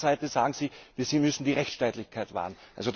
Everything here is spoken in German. Auf der anderen Seite sagen Sie, sie müsse die Rechtsstaatlichkeit wahren.